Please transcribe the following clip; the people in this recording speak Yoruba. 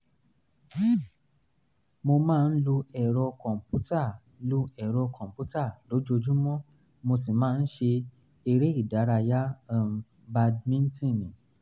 mo máa ń lo ẹ̀rọ kọ̀m̀pútà lo ẹ̀rọ kọ̀m̀pútà lójoojúmọ́ mo sì máa ń ṣe eré ìdárayá um bàdìmíntínnì